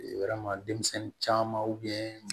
Yɔrɔ denmisɛnnin caman